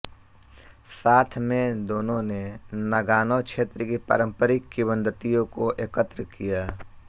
साथ में दोनों ने नागानो क्षेत्र की पारंपरिक किंवदंतियों को एकत्र किया